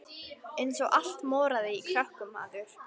Eins og allt moraði í krökkum maður.